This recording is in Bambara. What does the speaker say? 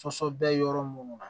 bɛ yɔrɔ minnu na